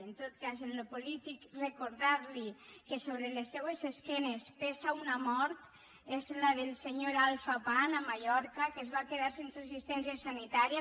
en tot cas en allò polític recordar li que sobre les seues esquenes pesa una mort és la del senyor alpha pam a mallorca que es va quedar sense assistència sanitària